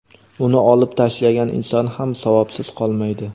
uni olib tashlagan inson ham savobsiz qolmaydi.